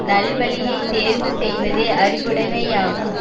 நல் வழியை தேர்வு செய்வதே அறிவுடைமையாகும்